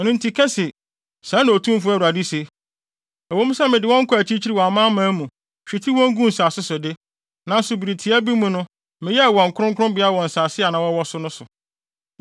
“Ɛno nti ka se, ‘Sɛɛ na Otumfo Awurade se: Ɛwɔ mu sɛ mede wɔn kɔɔ akyirikyiri wɔ amanaman mu, hwetee wɔn guu nsase so de, nanso bere tiaa bi mu no meyɛɛ wɔn kronkronbea wɔ nsase a na wɔwɔ so no so.’